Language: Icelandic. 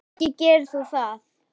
Ekki gerir þú það!